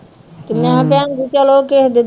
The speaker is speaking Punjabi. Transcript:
ਤੇ ਮੈਂ ਕਿਹਾ ਭੈਣ ਜੀ ਚਲੋ ਕਿਸੇ ਦੇ